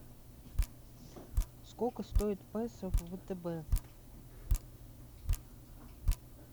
сколько стоит песо в втб